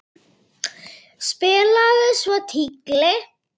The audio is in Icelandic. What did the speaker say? Spilaði svo tígli.